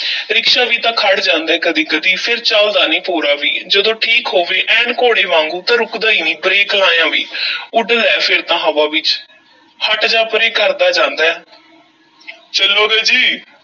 Rickshaw ਵੀ ਤਾਂ ਖੜ੍ਹ ਜਾਂਦਾ ਐ ਕਦੀ-ਕਦੀ, ਫੇਰ ਚੱਲਦਾ ਨੀ ਭੋਰਾ ਵੀ ਜਦੋਂ ਠੀਕ ਹੋਵੇ, ਐਨ ਘੋੜੇ ਵਾਂਗੂੰ, ਤਾਂ ਰੁਕਦਾ ਈ ਨਹੀਂ ਬ੍ਰੇਕ ਲਾਇਆਂ ਵੀ ਉੱਡਦਾ ਐ ਫੇਰ ਤਾਂ ਹਵਾ ਵਿੱਚ, ਹਟ ਜਾ ਪਰੇ ਕਰਦਾ ਜਾਂਦਾ ਐ ਚੱਲੋਗੇ ਜੀ?